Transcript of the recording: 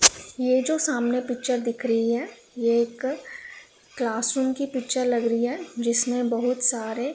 ये जो सामने पिक्चर दिख रही है ये एक क्लास रूम की पिक्चर लग रही है जिसमें बहुत सारे--